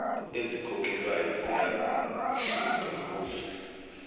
ezikhokhelwayo ziyahluka kuzwe